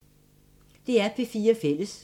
DR P4 Fælles